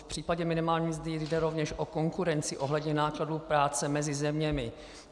V případě minimální mzdy jde rovněž o konkurenci ohledně nákladů práce mezi zeměmi.